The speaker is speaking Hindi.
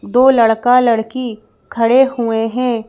दो लड़का लड़की खड़े हुए हैं।